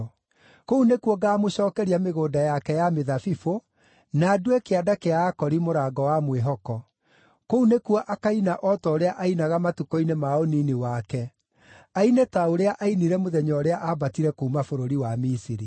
Kũu nĩkuo ngaamũcookeria mĩgũnda yake ya mĩthabibũ, na ndue Kĩanda kĩa Akori mũrango wa mwĩhoko. Kũu nĩkuo akaina o ta ũrĩa ainaga matukũ-inĩ ma ũnini wake, aine ta ũrĩa ainire mũthenya ũrĩa aambatire kuuma bũrũri wa Misiri.”